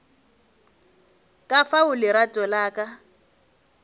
ka fao lerato la ka